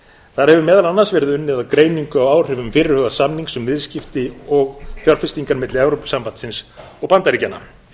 þar hefur meðal annars verið unnið að greiningu á áhrifum fyrirhugaðs samnings um viðskipti og fjárfestingar milli evrópusambandsins og bandaríkjanna